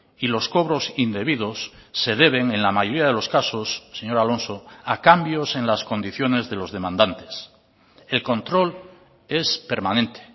y los cobros indebidos se deben en la mayoría de los casos señor alonso a cambios en las condiciones de los demandantes el control es permanente